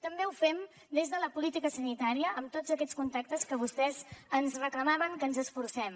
també ho fem des de la política sanitària amb tots aquests contactes en què vostès ens reclamaven que ens hi esforcem